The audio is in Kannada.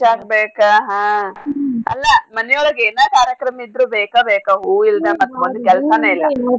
ಪೂಜಾಕ್ ಬೇಕ ಹಾ ಅಲ್ಲ ಮನಿ ಒಳ್ಗೆ ಏನಾ ಕಾರ್ಯಕ್ರಮ ಇದ್ರು ಬೇಕ ಬೇಕ ಹೂವ್ ಇಲ್ದ ಮತ್ತ್ ಮುಂದ್ ಕೆಲ್ಸನೇ ಇಲ್ಲ.